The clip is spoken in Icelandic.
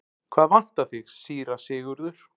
Hvað vantar þig, síra Sigurður?